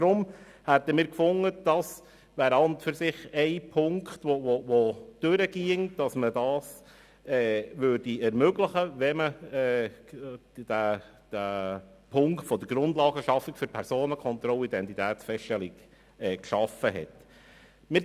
Deshalb finden wir, man sollte das ermöglichen, wenn man den Punkt der Grundlagenschaffung für Personenkontrollen und Identitätsfeststellungen geschaffen hat.